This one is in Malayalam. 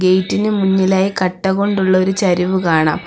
ഗേറ്റിന് മുന്നിലായി കട്ട കൊണ്ടുള്ളൊരു ചരിവ് കാണാം.